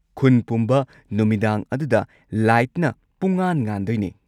ꯈꯨꯟ ꯄꯨꯝꯕ ꯅꯨꯃꯤꯗꯥꯡ ꯑꯗꯨꯗ ꯂꯥꯏꯠꯅ ꯄꯨꯝꯉꯥꯟ-ꯉꯥꯟꯗꯣꯏꯅꯦ꯫